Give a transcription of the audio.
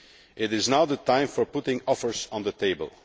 It is now the time for putting offers on the table.